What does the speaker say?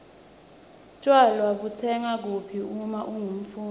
tjwala butsengwa kuphi uma ungumfundzi